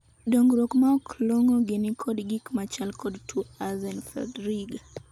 dongruok maok long'o gi nikod gik machal kod tuo Axenfeld-Rieger